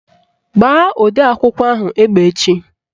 Gbaa odeakwụkwọ ahụ egbe echi!